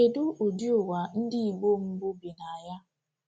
Kedu ụdị ụwa ndị Igbo mbụ bi na ya?